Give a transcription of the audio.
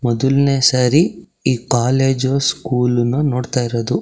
ಮೊದಲ್ನೇ ಸರಿ ಈ ಕಾಲೇಜ್ ನೋಡ್ತಾ ಇರೋದು.